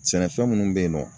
Sɛnɛfɛn minnu bɛ yen nɔ